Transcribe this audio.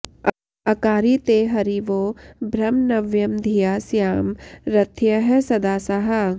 अकारि ते हरिवो ब्रह्म नव्यं धिया स्याम रथ्यः सदासाः